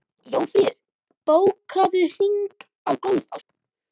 Jófríður, bókaðu hring í golf á sunnudaginn.